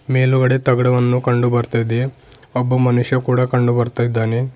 ಮೇಲುಗಡೆ ತಗಡುವನು ಕಂಡು ಬರ್ತಾ ಇದೆ ಒಬ್ಬ ಮನುಷ್ಯ ಕೂಡ ಕಂಡು ಬರ್ತಾ ಇದಾನೆ.